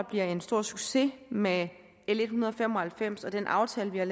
bliver en stor succes med l en hundrede og fem og halvfems og den aftale vi har